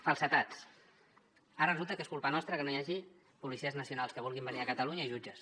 falsedats ara resulta que és culpa nostra que no hi hagi policies nacionals que vulguin venir a catalunya i jutges